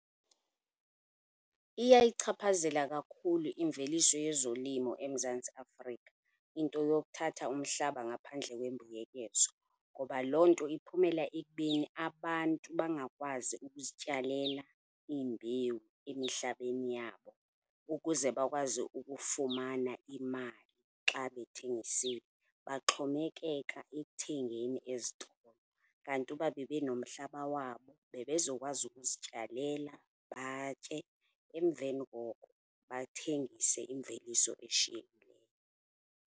Iyayichaphazela kakhulu imveliso yezolimo eMzantsi Afrika into yokuthatha umhlaba ngaphandle kwembuyekezo, ngoba loo nto iphumela ekubeni abantu bangakwazi ukuzityalela iimbewu emihlabeni yabo ukuze bakwazi ukufumana imali xa bethengisile. Baxhomekeka ekuthengeni ezitolo, kanti uba benenomhlaba wabo bebezokwazi ukuzityalela batye emveni koko bathengise imveliso eshiyekile.